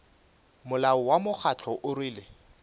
molao wa mokgatlo o rwele